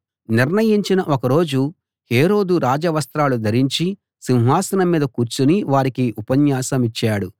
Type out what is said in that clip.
నిర్ణయించిన ఒక రోజు హేరోదు రాజవస్త్రాలు ధరించి సింహాసనం మీద కూర్చుని వారికి ఉపన్యాసమిచ్చాడు